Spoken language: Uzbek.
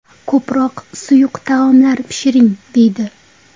Ko‘proq suyuq taomlar pishiring deydi.